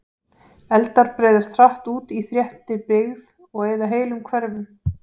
Eldar breiðast hratt út í þéttri byggð og eyða heilum hverfum.